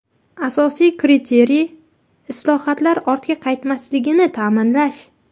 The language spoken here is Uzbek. Asosiy kriteriy islohotlar ortga qaytmasligini ta’minlash.